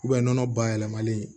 nɔnɔ bayɛlɛmalen